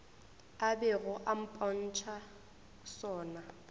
a bego a mpotša sona